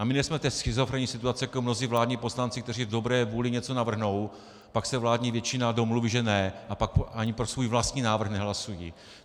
A my nejsme v tak schizofrenní situaci jako mnozí vládní poslanci, kteří v dobré vůli něco navrhnou, pak se vládní většina domluví že ne, a pak ani pro svůj vlastní návrh nehlasují.